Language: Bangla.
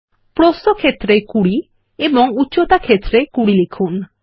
প্রস্থ ক্ষেত্র এ 20 এবং উচ্চতা ক্ষেত্র এ 20 লিখুন